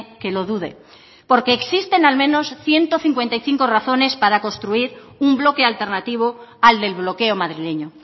que lo dude porque existen al menos ciento cincuenta y cinco razones para construir un bloque alternativo al del bloqueo madrileño